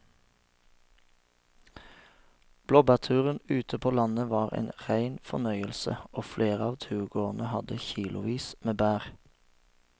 Blåbærturen ute på landet var en rein fornøyelse og flere av turgåerene hadde kilosvis med bær.